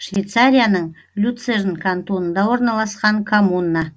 швейцарияның люцерн кантонында орналасқан коммуна